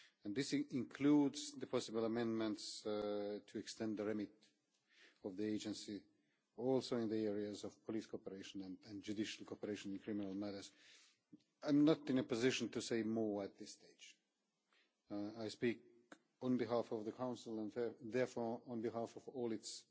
This includes the possible amendments to extend the remit of the Agency also in the areas of police cooperation and judicial cooperation in criminal matters. I am not in a position to say more at this stage. I speak on behalf of the Council and therefore on behalf of all its